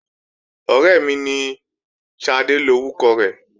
Ọ̀rẹ́ mi ní, Ṣadé lórúkọ rẹ̀